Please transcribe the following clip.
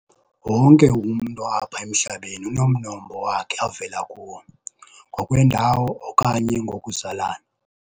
Wonke umntu apha emhlabeni unomnombo wakhe avela kuwo, ngokwendawo okanye ngokuzalana.